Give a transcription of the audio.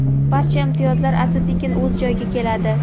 Barcha imtiyozlar asta-sekin o‘z joyiga keladi.